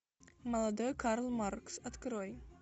молодой карл маркс открой